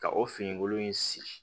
Ka o fini kolon in sigi